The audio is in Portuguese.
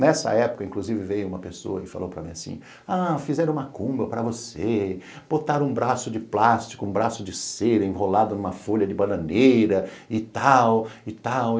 Nessa época, inclusive, veio uma pessoa e falou para mim assim, ah, fizeram uma macumba para você, botaram um braço de plástico, um braço de cera enrolado numa folha de bananeira e tal, e tal.